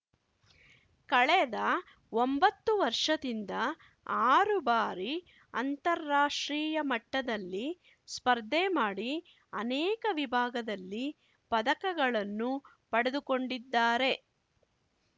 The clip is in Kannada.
ಕಳೆದ ಒಂಬತ್ತು ವರ್ಷದಿಂದ ಆರು ಬಾರಿ ಅಂತಾರಾಷ್ಟ್ರೀಯ ಮಟ್ಟದಲ್ಲಿ ಸ್ಪರ್ಧೆ ಮಾಡಿ ಅನೇಕ ವಿಭಾಗದಲ್ಲಿ ಪದಕಗಳನ್ನು ಪಡೆದುಕೊಂಡಿದ್ದಾರೆ